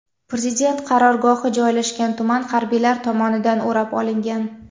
Prezident qarorgohi joylashgan tuman harbiylar tomonidan o‘rab olingan.